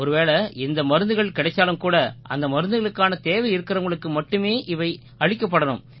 ஒருவேளை இந்த மருந்துகள் கிடைச்சாலும் கூட அந்த மருந்துகளுக்கான தேவை இருக்கறவங்களுக்கு மட்டுமே அவை அளிக்கப்படணும்